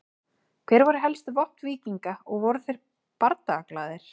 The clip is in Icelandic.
Hver voru helstu vopn víkinga og voru þeir bardagaglaðir?